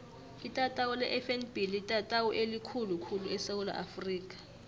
itatawu lefnb litatawu elikhulu khulu esewula afrika